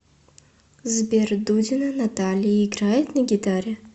сбер дудина наталья играет на гитаре